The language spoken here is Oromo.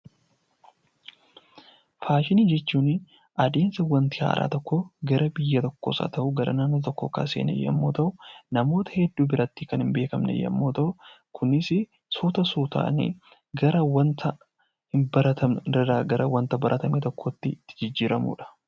Faashinii jechuun adeemsa wanta haaraan tokko gara biyya tokkoos haa ta'uu naannoo tokkoo seene yoo ta'u, namoota hedduu biratti kan hin beekamne yoo ta'u, Kunis suuta suutaan gara wanta hin baratamne irraa gara wanta baratameetti jijjiiramudha.